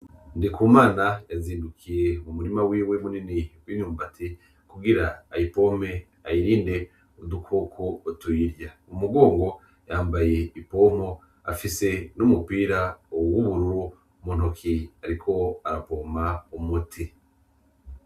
Ndikumana yazindukiye m'umurima wiwe munini w'imyubati; kugir'ayipompe ,ayirinde udukoko kotwoyirya, k'umugongo yambay'ipompo afise n'umupira w'ubururu muntoke ariko arapompa umuti.